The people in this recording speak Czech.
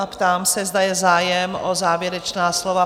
A ptám se, zda je zájem o závěrečná slova?